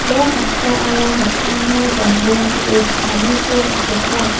ia noksaara noksamo dambonge ge·e cha·aniko mesoka.